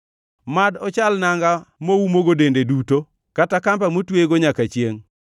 Mad ochal nanga moumogo dende duto, kata kamba motweyego nyaka chiengʼ.